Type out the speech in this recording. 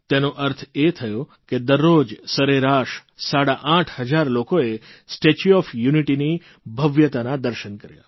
તેનો અર્થ એ થયો કે દરરોજ સરેરાશ સાડા આઠ હજાર લોકોએ સ્ટેચ્યુ ઓફ યુનિટીની ભવ્યતાના દર્શન કર્યા